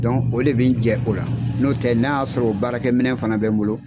o de bɛ n jɛ o la, n'otɛ n'a y'a sɔrɔ baarakɛ minɛ fana bɛ n bolo.